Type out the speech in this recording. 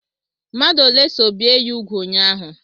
Mmadụ ole so bie ya úgwù ụnyaahụ?